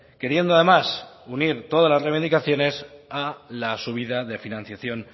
queriendo además unir todas la limitaciones a la subida de financiación